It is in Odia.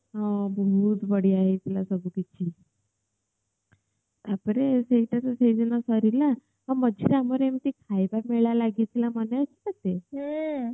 ହଁ ବହୁତ ବଢିଆ ହେଇଥିଲା ସବୁ କିଛି ହଁ ମଝିରେ ଆମର ଏମିତି ଖାଇବା ପିଏବା ବି ଲାଗିଥିଲା ମନେ ଅଛି ତତେ